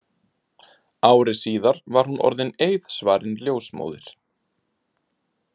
Ári síðar var hún orðin eiðsvarin ljósmóðir.